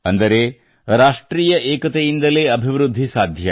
ಅಂದರೆ ರಾಷ್ಟ್ರೀಯ ಏಕತೆಯಿಂದಲೇ ಅಭಿವೃದ್ಧಿ ಸಾಧ್ಯ